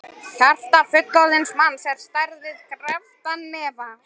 Hjarta fullorðins manns er á stærð við krepptan hnefa.